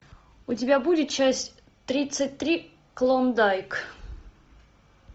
у тебя будет часть тридцать три клондайк